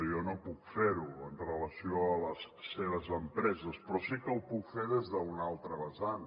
jo no puc fer ho amb relació a les seves empreses però sí que ho puc fer des d’una altra vessant